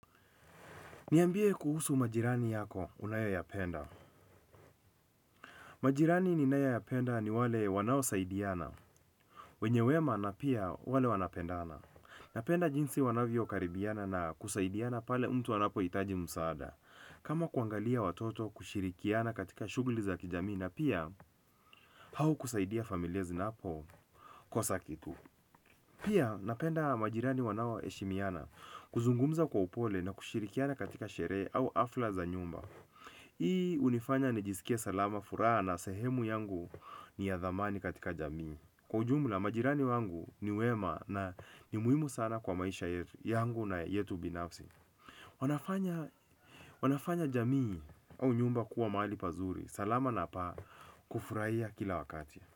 Niambie kuhusu majirani yako unayoyapenda. Majirani ninayoyapenda ni wale wanaosaidiana. Wenye wema na pia wale wanapendana. Napenda jinsi wanavyokaribiana na kusaidiana pale mtu anapohitaji msaada. Kama kuangalia watoto kushirikiana katika shughuli za kijamii na pia au kusaidia familia zinapokosa kitu. Pia napenda majirani wanao heshimiana kuzungumza kwa upole na kushirikiana katika sherehe au hafla za nyumba. Hii hunifanya nijisikie salama furaha na sehemu yangu ni ya dhamani katika jamii. Kwa ujumla majirani wangu ni wema na ni muhimu sana kwa maisha yangu na yetu binafsi. Wanafanya jamii au nyumba kuwa mahali pazuri. Salama na pa kufurahia kila wakati.